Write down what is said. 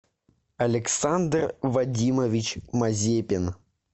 александр вадимович мазепин